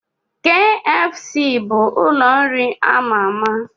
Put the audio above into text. Kfc bụ ụlọ nri ama ama